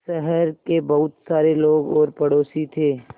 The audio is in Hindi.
शहर के बहुत सारे लोग और पड़ोसी थे